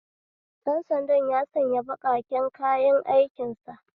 Dan sanda ya sanya baƙaƙen kayan aikin sa